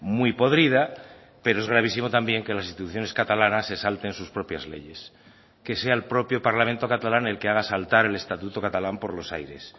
muy podrida pero es gravísimo también que las instituciones catalanas se salten sus propias leyes que sea el propio parlamento catalán el que haga saltar el estatuto catalán por los aires